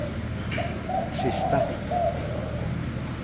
sista